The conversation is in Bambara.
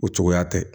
O cogoya tɛ